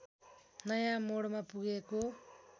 नयाँ मोडमा पुगेको